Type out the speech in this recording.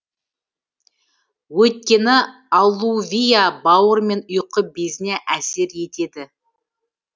өйткені алувиа бауыр мен ұйқы безіне әсер етеді